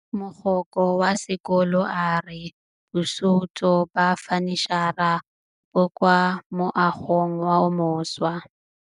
Mogokgo wa sekolo a re bosutô ba fanitšhara bo kwa moagong o mošwa.